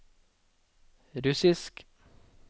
russisk